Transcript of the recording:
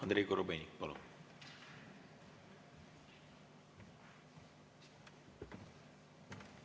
Andrei Korobeinik, palun!